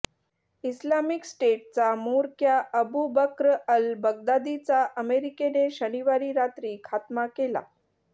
Islamic स्टेटचा म्होरक्या Abu Bakr al बगदादीचा अमेरिकेने शनिवारी रात्री खात्मा केला